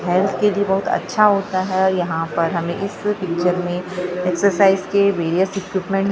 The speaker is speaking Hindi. हेल्थ के लिए बहुत अच्छा होता है यहाँ पर हमें इस पिक्चर में एक्सरसाइज के वेरियस इक्विपमेंट --